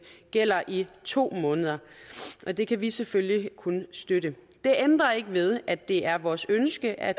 gælder i to måneder det kan vi selvfølgelig kun støtte det ændrer ikke ved at det er vores ønske at